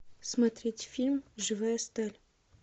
смотреть фильм живая сталь